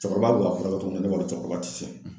Cɛkɔrɔba bɛk'a furakɛ cogo min na ne kɔnɔ cɛkɔrɔba ti se